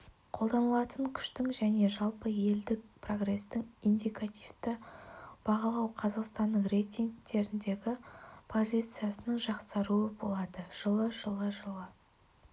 қолданылатын күштің және жалпы елдік прогрестің индикативті бағалау қазақстанның рейтингтіндегі позициясының жақсаруы болады жылы жылы жылы